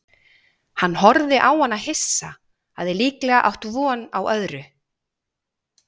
Hann horfði á hana hissa, hafði líklega átt von á öðru.